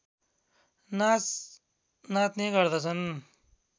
नाच नाच्ने गर्दछन्